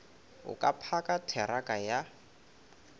o ka phaka theraka ya